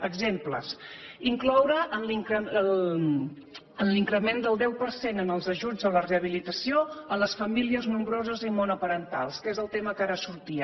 exemples incloure en l’increment del deu per cent en els ajuts a la rehabilitació les famílies nombroses i monoparentals que és el tema que ara sortia